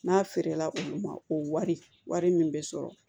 N'a feerela olu ma o wari min bɛ sɔrɔ